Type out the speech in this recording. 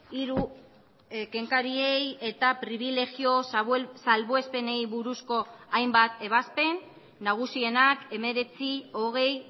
hiru kenkariei eta pribilegio salbuespenei buruzko hainbat ebazpen nagusienak hemeretzi hogei